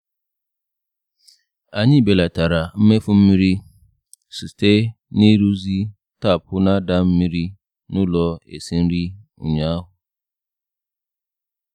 Anyị belatara mmefu mmiri site n’ịrụzi tapụ na-ada mmiri n'ụlọ esi nri ụnyaahụ.